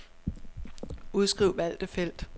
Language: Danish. Udskriv valgte felt.